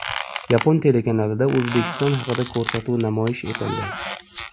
Yapon telekanalida O‘zbekiston haqida ko‘rsatuv namoyish etildi.